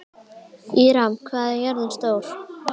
Híram, hvað er jörðin stór?